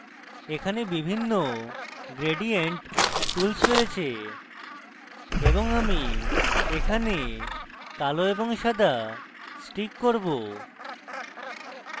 এখানে বিভিন্ন gradient tools রয়েছে এবং আমি এখানে কালো এবং সাদা stick করব